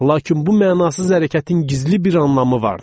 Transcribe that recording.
Lakin bu mənasız hərəkətin gizli bir anlamı vardı.